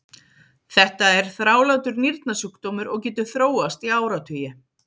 þetta er þrálátur nýrnasjúkdómur og getur þróast í áratugi